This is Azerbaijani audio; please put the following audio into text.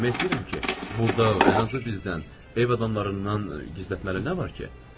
Demək istəyirəm ki, burda ən azı bizdən, ev adamlarından gizlətməli nə var ki?